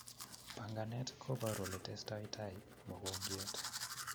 Panganet kobaruu ole testaitai mogongiot